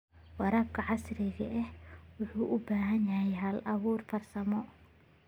Waraabka casriga ahi wuxuu u baahan yahay hal-abuur farsamo.